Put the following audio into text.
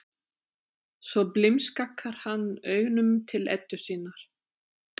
Svo blimskakkar hann augunum til Eddu sinnar.